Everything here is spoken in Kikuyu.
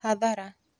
Hathara